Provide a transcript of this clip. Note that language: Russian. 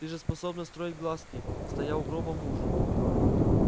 ты же способна строить глазки стоя у гроба мужа